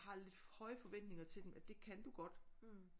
Har lidt høje forventninger til dem at det kan du godt